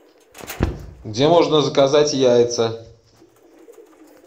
где можно заказать яйца